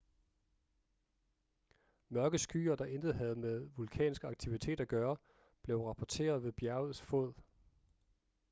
mørke skyer der intet havde med vulkansk aktivitet at gøre blev rapporteret ved bjergets fod